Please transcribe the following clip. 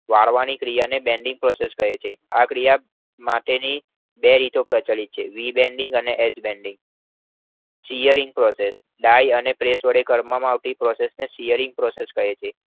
વાળવાની ક્રિયાને bending process કહે છે. આ ક્રિયા કરવા માટેની બે રીતો પ્રચલિત છે WeBanking અને એજ Banking shearing process die અને press વડે કરવામાં આવતી પ્રક્રિયાને shearing process કહે છે.